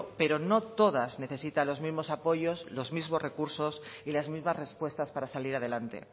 pero no todas necesitan los mismos apoyos los mismos recursos y las mismas respuestas para salir adelante